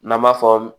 N'an b'a fɔ